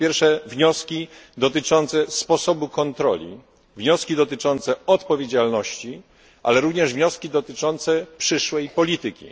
Po pierwsze, wnioski dotyczące sposobu kontroli, wnioski dotyczące odpowiedzialności, ale również wnioski dotyczące przyszłej polityki.